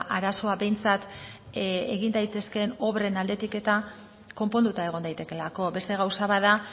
arazoa behintzat egin daitezkeen obren aldetik eta konponduta egon daitekeelako beste gauza bat da